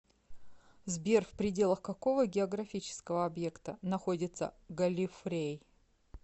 сбер в пределах какого географического объекта находится галлифрей